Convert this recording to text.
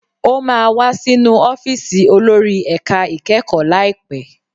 Ó máa wá sínú ọ́fíìsì olórí ẹ̀ka ìkẹ́kọ̀ọ́ láìpẹ́.